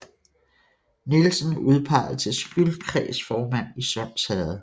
Nielsen udpeget til skyldkredsformand i Sunds Herred